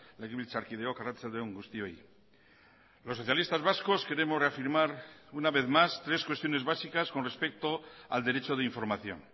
legebiltzarkideok arratsalde on guztioi los socialistas vascos queremos reafirmar una vez más tres cuestiones básicas con respecto al derecho de información